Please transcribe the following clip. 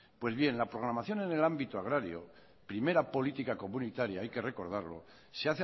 pues bien la programación en el ámbito agrario primera política comunitaria hay que recordarlo se